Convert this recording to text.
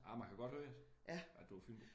Ej man kan godt høre det. At du er fynbo